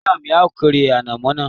Ìyá mi a kórè ànàmọ́ náà